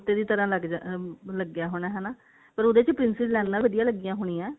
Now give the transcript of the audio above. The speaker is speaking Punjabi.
ਦੀ ਤਰ੍ਹਾਂ ਲੱਗ ਜਾਂਦਾ ਲੱਗਿਆ ਹੋਇਆ ਹਨਾ ਪਰ ਉਹਦੇ ਵਿੱਚ princess ਲਾਈਨਾ ਵਧੀਆ ਲੱਗੀਆਂ ਹੋਣੀਆ